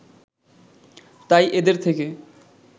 তাই এদের থেকে